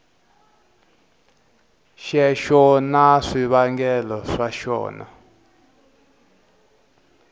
xexo na swivangelo swa xona